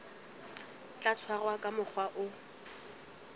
tla tshwarwa ka mokgwa o